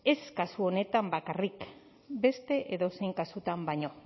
ez kasu honetan bakarrik beste edozein kasutan baino